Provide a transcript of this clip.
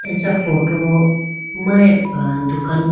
acha photo me a dukan.